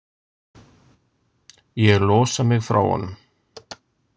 Ég losa mig frá honum.